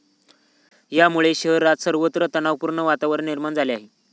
यामुळे शहरात सर्वत्र तणावपूर्ण वातावरण निर्माण झाले होते.